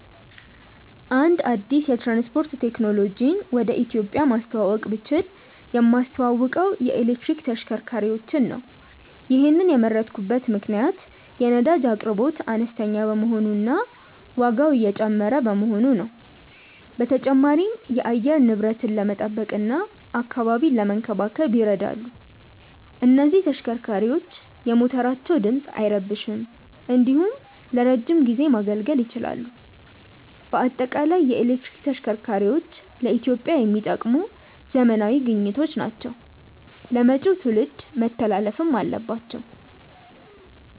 አንድ አዲስ የትራንስፖርት ቴክኖሎጂን ወደ ኢትዮጵያ ማስተዋወቅ ብችል የማስተዋውቀው የኤሌክትሪክ ተሽከርካሪዎችን ነው። ይሔንን የመረጥኩበት ምክንያት የነዳጅ አቅርቦት አነስተኛ በመሆኑ እና ዋጋው እየጨመረ በመሆኑ ነው። በተጨማሪም የአየር ንብረትን ለመጠበቅ እና አካባቢን ለመንከባከብ ይረዳሉ። እነዚህ ተሽከርካሪዎች የሞተራቸው ድምፅ አይረብሽም እንዲሁም ለረዥም ጊዜ ማገልገል ይችላሉ። በአጠቃላይ የኤሌክትሪክ ተሽከርካሪዎች ለኢትዮጵያ የሚጠቅሙ ዘመናዊ ግኝቶች ናቸው ለመጪው ትውልድ መተላለፍም አለባቸው።